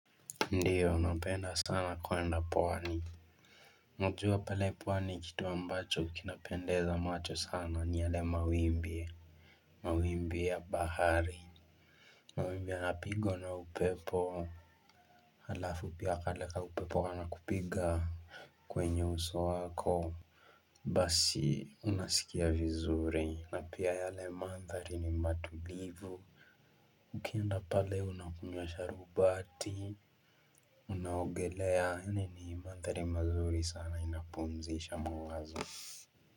Ndio napenda sana kuenda pwani Najua pale pwani kitu ambacho kinapendeza macho sana ni yale mawimbi mawimbi ya bahari mawimbi yanapigwa na upepo Halafu pia kale ka upepo kanakupiga kwenye uso wako Basi unasikia vizuri na pia yale mandhari ni matulivu Ukienda pale unakunywa sharubati Unaogelea yaani ni mandhari mazuri sana inapumzisha mawazo.